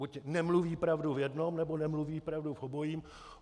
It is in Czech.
Buď nemluví pravdu v jednom, nebo nemluví pravdu v obojím.